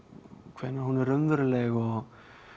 hvenær hún er raunveruleg og